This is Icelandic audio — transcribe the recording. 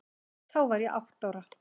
Þá var ég átta ára.